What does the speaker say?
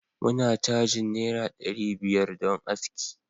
muna cajin naira dari biyar don aski